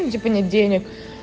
ну типа нет денег